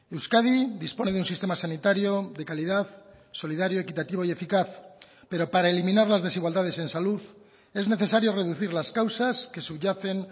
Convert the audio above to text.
euskadi dispone de un sistema sanitario de calidad solidario equitativo y eficaz pero para eliminar las desigualdades en salud es necesario reducir las causas que subyacen